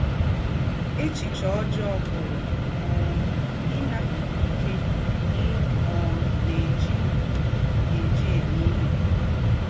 Èchìchè ọ́jọọ pụ̀rù́ um ínàpụ̀ gị íké ì um gà - èjí - èjí mè ìhè.